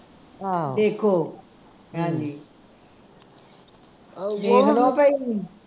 ਆਹੋ ਦੇਖੋ ਹਾਂ ਜੀ ਦੇਖ ਲਉ ਭਈ